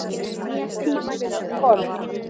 Einn maður er um borð.